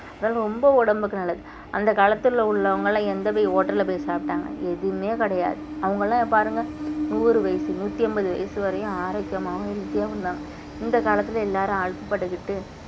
அதெல்லாம் ரொம்ப உடம்புக்கு நல்லது அந்த காலத்துல உள்ளவங்கெல்லாம் எந்த போய் hotel போய் சாப்பிட்டாங்க எதுவுமே கிடையாது அவங்க எல்லாம் பாருங்க நூறு வயசு நூத்தி ஐம்பது வயசு வரையும் ஆரோக்கியமாவும் healthy ஆவும் இருந்தாங்க இந்த காலத்துல எல்லாரும் அல்பப்பட்டுக்கிட்டு